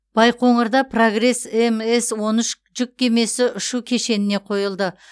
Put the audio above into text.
байқоңырда прогресс мс он үш жүк кемесі ұшу кешеніне қойылды